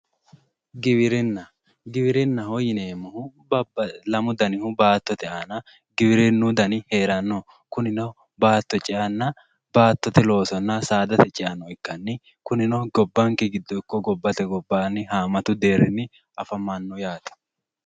Giwirinna, giwirinnaho yineemmohu babbaxino lamu dannihu kunino baattote aana baattote ceanna saada ceate heerano kuninno saada ceanna baattote loose ikkanni kuninno gobbanke giddonno gobbate gobbanino deerinni afamano yaate.